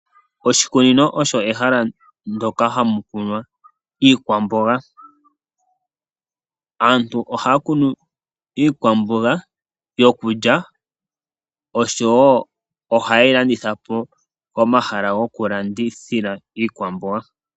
Oshikunino osho ehala ndoka hamu kunwa iikwamboga. Aantu ohaya kunu iikwamboga yokulya oshowo ohaye yi landitha po komahala goku landithila iikwamboga.